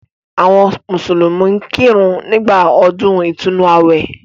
Àwọn mùsùlùmí ń kírun nígbà ọdún ìtúnnu àwẹ̀.